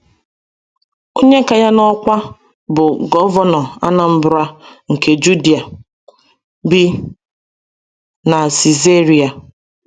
Onye ka ya n’ọkwá, bụ́ govenọ Anambra nke Judiea, bi na Sisaria.